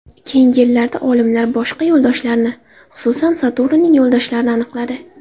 Keyingi yillarda olimlar boshqa yo‘ldoshlarni, xususan, Saturnning yo‘ldoshlarini aniqladi.